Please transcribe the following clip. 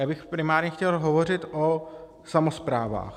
Já bych primárně chtěl hovořit o samosprávách.